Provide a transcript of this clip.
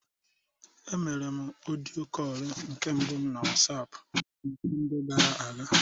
Emere m ọdịo kọl nke mbụ m na Wasapụ na Sọnde gara aga.